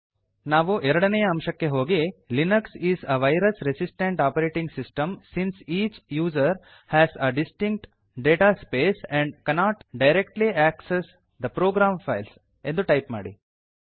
ನಾವು ಎರಡನೇಯ ಅಂಶಕ್ಕೆ ಹೋಗಿ Linux is a virus resistant operating system since which user has a distinct data space and cannot directly access the program files ಎಂದು type ಮಾಡಿ